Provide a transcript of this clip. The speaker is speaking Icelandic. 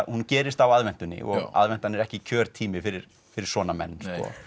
hún gerist á aðventunni og aðventan er ekki kjörtími fyrir fyrir svona menn